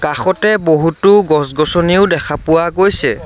কাষতে বহুতো গছ-গছনিও দেখা পোৱা গৈছে।